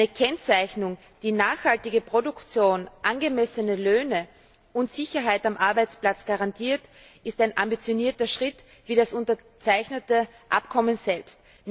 Eine Kennzeichnung, die nachhaltige Produktion, angemessene Löhne und Sicherheit am Arbeitsplatz garantiert, ist ein ambitionierter Schritt wie das unterzeichnete Abkommen selbst.